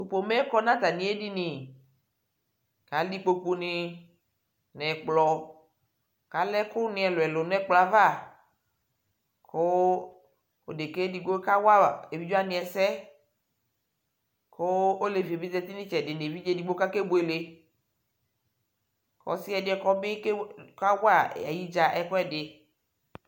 tʊ udunu yɛ za nʊ atamiedini, kʊ alɛ ikpokunɩ, nʊ ɛkplɔ, kʊ alɛ ɛkʊnɩ ɛlʊɛlʊ nʊ ɛkplɔ yɛ ava, kʊ odeka edigbo ka wa emlowa ɛsɛ, kʊ olevi yɛ bɩ zati nʊ itsɛdɩ nʊ umlo edigbo kʊ akebuele, ɔsi ɛdɩ yɛ bɩ ka wa ay'idzǝ ɛkʊɛdɩ